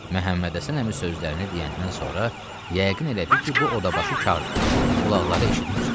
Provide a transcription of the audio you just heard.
Məhəmmədhəsən əmi sözlərini deyəndən sonra yəqin elədi ki, bu odabaşı kardır, qulaqları eşitmir.